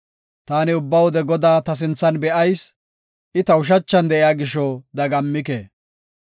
Taani ubba wode Godaa ta sinthan be7ayis; I ta ushachan de7iya gisho dagammike.